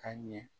Ka ɲɛ